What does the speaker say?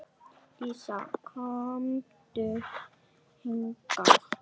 Dísa, komdu hingað!